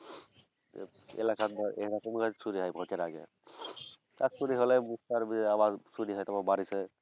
এলাকায় এরকম ভাবে চুরি হয়ে ভোটের আগে। তার চুরি হলে বুঝতে পারবে আবার চুরি হয়তোবা বারিসে।